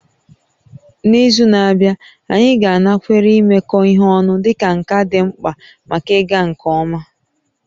N'izu na-abịa, anyị ga-anakwere imekọ ihe ọnụ dịka nka dị mkpa maka ịga nke ọma